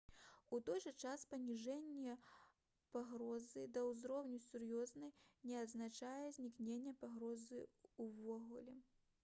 «у той жа час паніжэнне пагрозы да ўзроўню сур'ёзнай не азначае знікнення пагрозы ўвогуле»